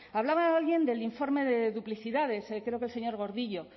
hablaba alguien del informe de duplicidades creo que el señor gordillo